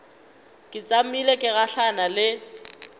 ke tšamile ke gahlana le